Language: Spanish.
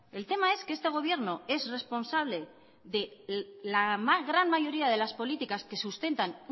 el tema es que este gobierno es responsable de la gran mayoría de las políticas que sustentan